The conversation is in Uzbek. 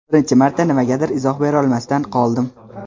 Birinchi marta nimagadir izoh berolmasdan qoldim.